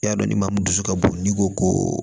I y'a dɔn ni maa min dusu ka bon ni ko ko